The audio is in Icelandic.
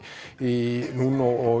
í Núnó og